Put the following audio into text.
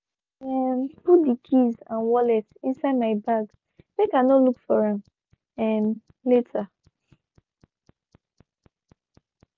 i be um put de keys and wallet inside my bag make i no look for am um later.